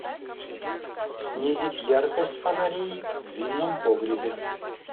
снизить яркость фонарей в винном погребе